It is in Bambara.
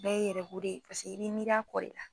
Ne ye erɛw de ye pase i bi miir'a kɔ de la